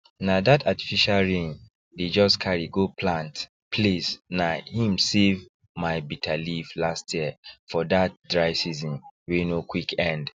na that artificial rain dey just carry go plant place na him save my bitter leaf last year for that dry season wey no quick end